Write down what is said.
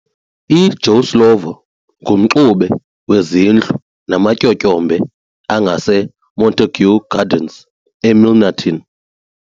I Joe Slovo ngumxube weZindlu nama Tyotyombe angase Montague Gardens e Milnerton.